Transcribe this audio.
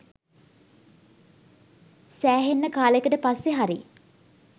සෑහෙන්න කාලෙකට පස්සෙ හරි